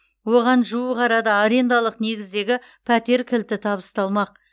оған жуық арада арендалық негіздегі пәтер кілті табысталмақ